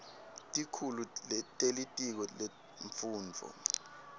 tikhulu telitiko lemfundvo